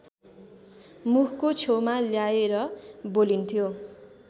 मुखको छेउमा ल्याएर बोलिन्थ्यो